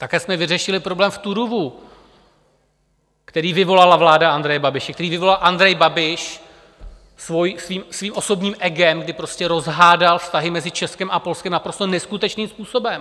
Také jsme vyřešili problém v Turówu, který vyvolala vláda Andreje Babiše, který vyvolal Andrej Babiš svým osobním egem, kdy prostě rozhádal vztahy mezi Českem a Polskem naprosto neskutečným způsobem.